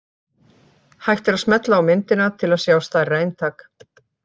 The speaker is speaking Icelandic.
Hægt er að smella á myndina til að sjá stærra eintak.